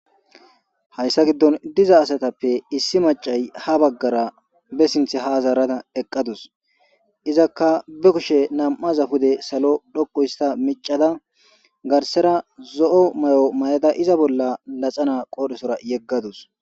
Haysa gidon diza asatape issi mac'c'ay ha bagara be sinten ha zarada eqadus izaka be kushe nam'aza pude salo dhoqu hista mic'c'da garsera zo'o may'o mayda izan bola naxala qoresora yegadus.